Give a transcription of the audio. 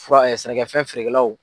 Fura sɛnɛkɛfɛn feerekɛlaw.